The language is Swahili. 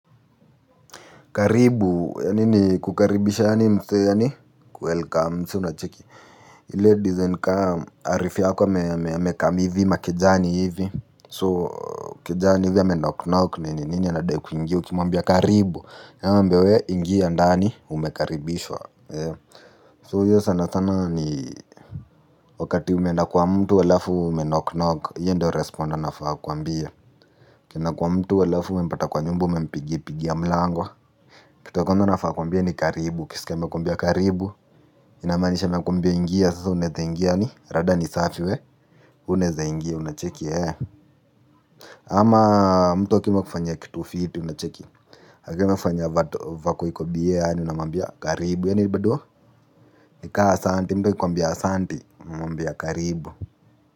Karibu, yani ni kukaribisha yani mse yani? Welcome, siunacheki. Ladies and come, arifi yako amecome hivi makejani hivi. So, kejani hivi ameendako nayo kwenyenini anadai kuingia ukimwambia karibu. Yaninamwabia we ingia ndani umekaribishwa. So, yeye sana sana ni wakati umenda kwa mtu alafu menoknok, iyo ndo respond anafaa kwambia. Ukienda kwa mtu alafu umempata kwa nyumba, umempigi pigia mlango. Kitu ya kwanza anafaa kukwambia ni karibu, ukisikia amekwambia karibu. Inamaanisha amekwmbia ingia, sasa ndo utaingia yani rada ni safi we, unaweza ingia, unacheki ee. Ama mtu akiamua kufanya kitu fiti unacheki akiwa amefanya vato vako iko bye ani unamwambia karibu, ya bado. Nikaa asante, mtu akikwambia asante, unamwambia karibu.